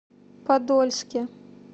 подольске